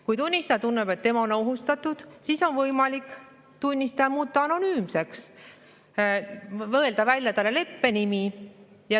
Kui tunnistaja tunneb, et tema on ohustatud, siis on võimalik tunnistaja muuta anonüümseks, mõelda välja talle leppenimi.